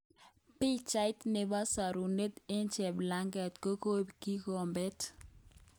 Pichait nebo sorunet eng cheplanget kokoib kikobet